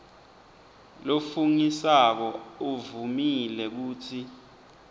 lofungisako uvumile kutsi